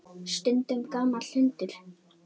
Stundum gamall hundur.